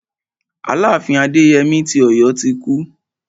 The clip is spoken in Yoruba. Aláàfin Adéyemí ti Ọ̀yọ́ ti kú.